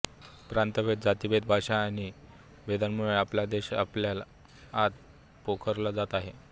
प्रांतभेद जातिभेद भाषा आदी भेदांमुळे आपला देश आतल्या आत पोखरला जात आहे